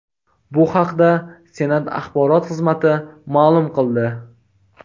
Bu haqda Senat Axborot xizmati ma’lum qildi .